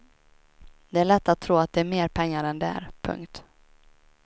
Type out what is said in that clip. Det är lätt att tro att det är mer pengar än det är. punkt